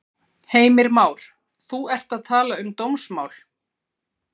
Heimir Már: Þú ert að tala um dómsmál?